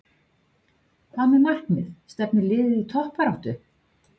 Hvað með markmið, stefnir liðið á toppbaráttu?